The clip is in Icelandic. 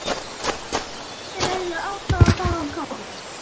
Það skýrði hversu léttilega hún fór með þessi duldu fræði.